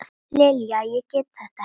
Lilja, ég get þetta ekki.